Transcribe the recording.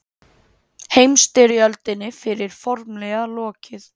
Heimstyrjöldinni fyrri formlega lokið